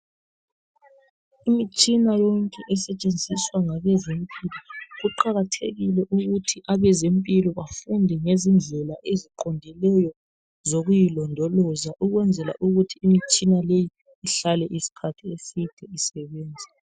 Imitshina yonke esetshenziswa ngabezempilo, kuqakathekile ukuthi abezempilo bafunde ngezindlela eziqondileyo zokuyilondoloza ukwenzela ukuthi imitshina leyi ihlale isikhathi eside isebenza